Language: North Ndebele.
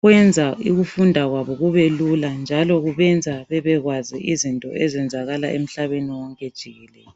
kwenza ukufunda kwabo kubelula njalo kubenza babekwazi izinto ezenzakala emhlabeni wonke jikelele.